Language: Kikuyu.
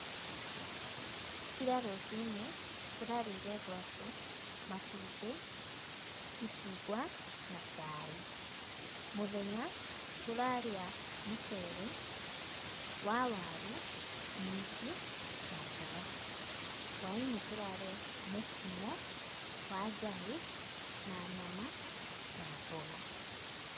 Ira rũcinĩ tũrarĩire ngwaci, matumbĩ, icungw'a na cai. Mũthenya tũrarĩa mũcere wa waru, minji na mboga. Hwa-inĩ tũrarĩa mũkimo wa njahĩ na nyama na mboga .